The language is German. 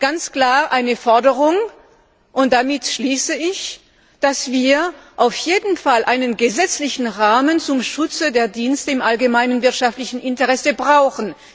ganz klar eine Forderung, dass wir in der Europäischen Union auf jeden Fall einen gesetzlichen Rahmen zum Schutz der Dienste im allgemeinen wirtschaftlichen Interesse brauchen.